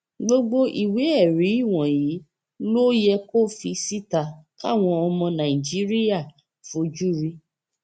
gbogbo ìwéẹrí wọnyí ló yẹ kó fi síta káwọn ọmọ nàìjíríà fojú rí